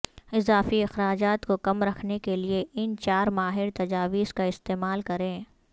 اضافی اخراجات کو کم رکھنے کے لئے ان چار ماہر تجاویز کا استعمال کریں